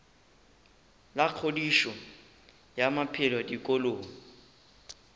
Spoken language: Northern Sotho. la kgodišo ya maphelo dikolong